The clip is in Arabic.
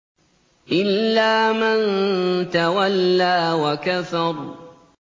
إِلَّا مَن تَوَلَّىٰ وَكَفَرَ